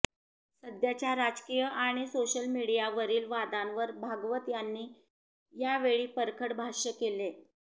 सध्याच्या राजकीय आणि सोशल मिडीयावरील वादावर भागवत यांनी यावेळी परखड भष्य केले